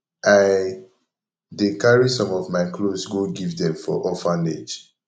i dey carry some of my cloths go give dem for orphanage